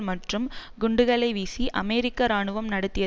மற்றும் குண்டுகளை வீசி அமெரிக்க இராணுவம் நடத்திய